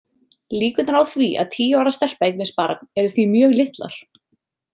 Líkurnar á því að tíu ára stelpa eignist barn eru því mjög litlar.